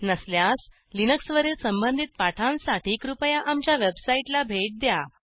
नसल्यास लिनक्सवरील संबंधित पाठांसाठी कृपया आमच्या वेबसाईटला भेट द्या